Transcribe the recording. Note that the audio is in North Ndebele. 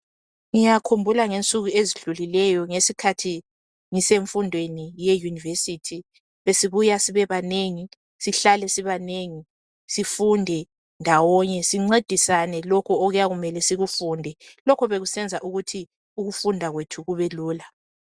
ngiyakhumbula ngensuku ezidlulileyo ngesikhathi ngisemfundweni ye university besibuya sibe banengi sihlale sibanengi sifunde ndawonye incedisane lokhu okuyabe kumele sikufunde lokho bekusenza ukuthi ukufunda kwethu kubelula